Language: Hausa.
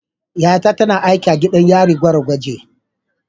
Yar’uwata tana aiki a gidan yarin gwargwage.